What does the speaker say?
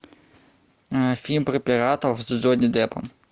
фильм про пиратов с джонни деппом